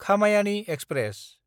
खामायानि express